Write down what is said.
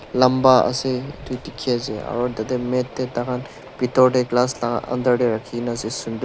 lamba ase edu dikhiase aro tatae mat tae tahan bitor tae glass la under tae rakhina ase sunder.